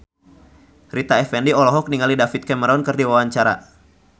Rita Effendy olohok ningali David Cameron keur diwawancara